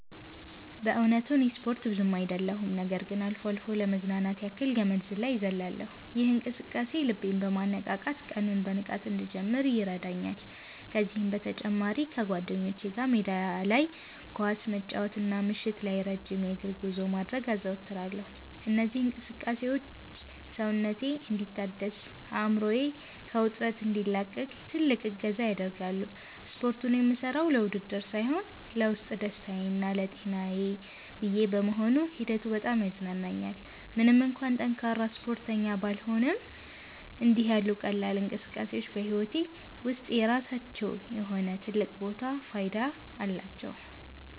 በእውነቱ እኔ ስፖርት ብዙ አይደለሁም ነገር ግን አልፎ አልፎ ለመዝናናት ያክል ገመድ ዝላይ እዘልላለሁ። ይህ እንቅስቃሴ ልቤን በማነቃቃት ቀኑን በንቃት እንድጀምር ይረዳኛል። ከዚህም በተጨማሪ ከጓደኞቼ ጋር ሜዳ ላይ ኳስ መጫወትና ምሽት ላይ ረጅም የእግር ጉዞ ማድረግን አዘወትራለሁ። እነዚህ እንቅስቃሴዎች ሰውነቴ እንዲታደስና አእምሮዬ ከውጥረት እንዲላቀቅ ትልቅ እገዛ ያደርጋሉ። ስፖርቱን የምሠራው ለውድድር ሳይሆን ለውስጥ ደስታዬና ለጤናዬ ብዬ በመሆኑ ሂደቱ በጣም ያዝናናኛል። ምንም እንኳን ጠንካራ ስፖርተኛ ባልሆንም፣ እንዲህ ያሉ ቀላል እንቅስቃሴዎች በሕይወቴ ውስጥ የራሳቸው የሆነ ትልቅ ቦታና ፋይዳ አላቸው።